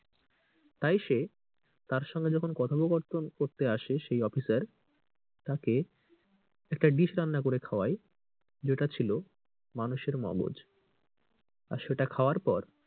তাই সে তার সঙ্গে যখন কথোপকথন করতে আসে সেই অফিসার তাকে একটা dish রান্না করে খাওয়ায় যেটা ছিল মানুষের মগজ আর সেটা খাওয়ার পর,